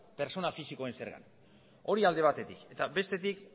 pertsona fisikoen zerga hori alde batetik eta bestetik